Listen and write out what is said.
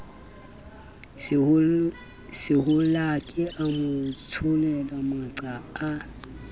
sehollake a motsholele maqa a